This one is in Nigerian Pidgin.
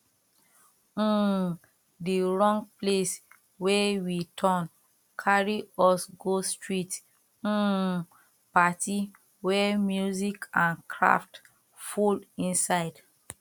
um the wrong place wey we turn carry us go street um party wey music and craft full inside